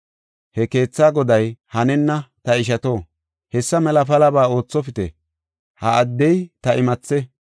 He keethaa goday, “Hanenna; ta ishato, hessa mela palaba oothopite; ha addey ta imathe.